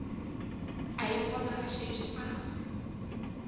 a ipona a šetše a